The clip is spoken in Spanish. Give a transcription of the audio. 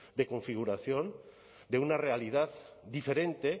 de configuración de una realidad diferente